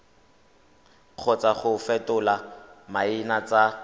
kgotsa go fetola maina tsa